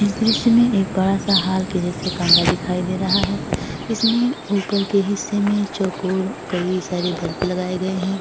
इस दृश्य में एक बड़ा सा हाल के जैसा कमरा दिखाई दे रहा है। इसमें उपर के हिस्से में चौकोर कई सारे बल्ब लगाये गए है।